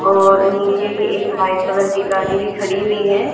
और नीचे ये एक वाइट कलर की गाड़ी भी खड़ी हुई है।